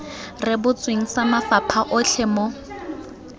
rebotsweng sa mafapha otlhe mo